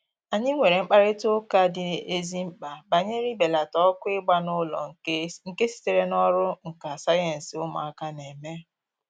Anyị nwere mkparịta ụka dị ezi mkpa banyere ibelata ọkụ ịgba n'ụlọ nke sitere n'ọrụ nka sayensị ụmụaka na-eme